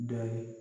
Dɔ ye